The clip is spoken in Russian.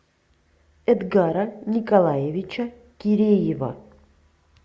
эдгара николаевича киреева